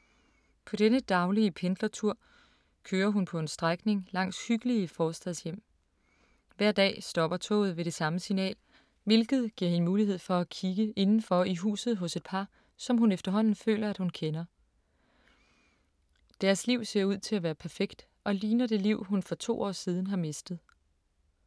På denne daglige pendlertur kører hun på en strækning langs hyggelige forstadshjem. Hver dag stopper toget ved det samme signal, hvilket giver hende mulighed for at kigge indenfor i huset hos et par, som hun efterhånden føler, at hun kender. Deres liv ser ud til at være perfekt og ligner det liv, hun for to år siden har mistet.